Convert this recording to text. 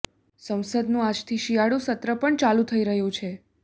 સંસદનું આજથી શિયાળુ સત્ર પણ ચાલુ થઈ રહ્યું છે